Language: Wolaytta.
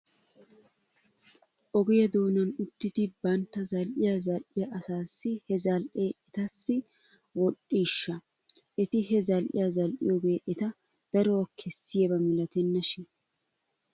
Ogiyaa doonan uttidi bantta zal'iyaa zal'iyaa asaassi he zal'ee etassi wodhdhiishsha? Eti he zal'iyaa zal'iyoogee eta daruwaa kessiyaaba milatenna shin.